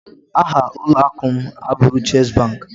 Aha ụlọakụ m abụghị chess bank